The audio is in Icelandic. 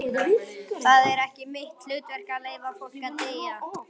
Það er ekki mitt hlutverk að leyfa fólki að deyja.